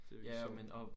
Det virkelig sjovt